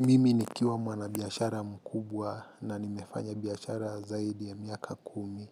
Mimi nikiwa mwanabiashara mkubwa na nimefanya biashara zaidi ya miaka kumi.